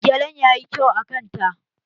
Gelen ya yi kyau a kanta